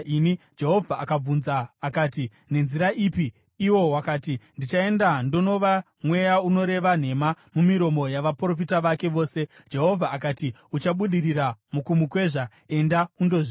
“Jehovha akabvunza akati, ‘Nenzira ipi?’ “Iwo wakati, ‘Ndichaenda ndonova mweya unoreva nhema mumiromo yavaprofita vake vose.’ “Jehovha akati, ‘Uchabudirira mukumukwezva. Enda undozviita.’